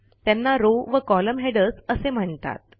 त्यांना रॉव वColumn हेडर्स असे म्हणतात